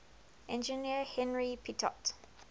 engineer henri pitot